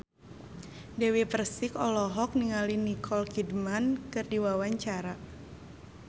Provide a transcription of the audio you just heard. Dewi Persik olohok ningali Nicole Kidman keur diwawancara